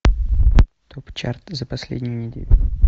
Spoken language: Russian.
топ чарт за последнюю неделю